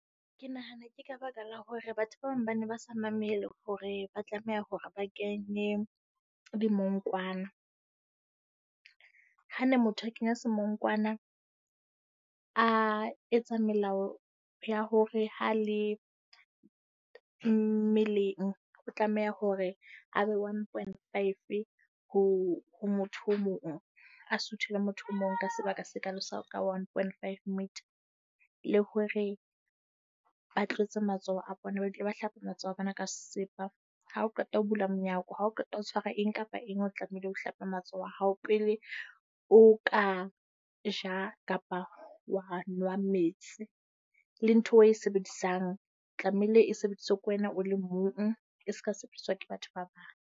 Ke nahana ke ka baka la hore batho ba bang ba ne ba sa mamele hore ba tlameha hore ba kenye dimongkwana. Ha ne motho a kenya semonkwana, a etsa melao ya hore ha le mmeleng o tlameha hore a be one point five ho motho o mong. A suthile motho o mong ka sebaka se kalo sa ka one point five metre, le hore ba tlotse matsoho a bona ba dule ba hlapa matsoho a bona ka sesepa. Ha o qeta ho bula monyako. Ha o qeta ho tshwara eng kapa eng, o tlamehile ho hlapa matsoho a hao pele o ka ja, kapa wa nwa metsi. Le ntho eo o e sebedisang tlameile e sebediswe ke wena o le mong. E se ka sebediswa ke batho ba bang.